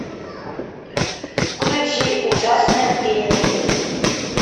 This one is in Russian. включи ужасная пенни